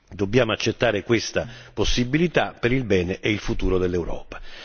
Dobbiamo accettare questa possibilità per il bene e il futuro dell'Europa.